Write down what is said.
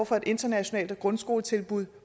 for et internationalt grundskoletilbud